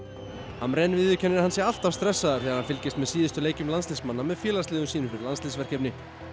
hamrén viðurkennir að hann sé alltaf stressaður þegar hann fylgist með síðustu leikjum landsliðsmanna með félagsliðum sínum fyrir landsliðsverkefni